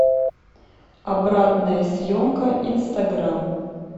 обратная съемка инстаграм